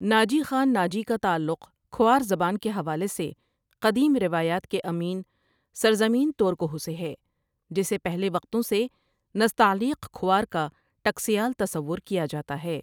ناجی خان ناجی کا تعلق کھوار زبان کے حوالے سے قدیم روایات کے امین سرزمین تورکہو سے ہے جسے پہلے وقتوں سے نستعیلق کھوار کا ٹکسیال تصور کیا جاتا ہے ۔